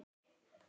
Hann passaði mig.